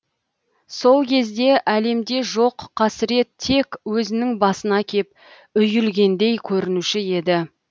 сол кезде әлемде жоқ қасірет тек өзінің басына кеп үйілгендей көрінуші еді